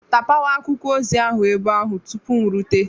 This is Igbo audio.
Tapawa akwụkwọ ozi ahụ ebe ahụ tupu m erute!.